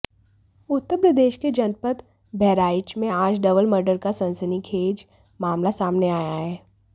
उत्तर प्रदेश के जनपद बहराइच में आज डबल मर्डर का सनसनीखेज मामला सामने आया है